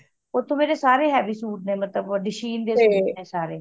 ਓਥੇ ਮੇਰੇ ਸਾਰੇ heavy ਸੂਟ ਨੇ ਮਤਲਬ dashing ਦੇ ਸੂਟ ਨੇ ਸਾਰੇ